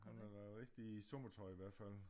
Han har da rigtig sommertøj i hvert fald